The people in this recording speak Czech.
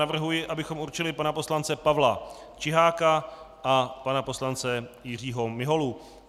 Navrhuji, abychom určili pana poslance Pavla Čiháka a pana poslance Jiřího Miholu.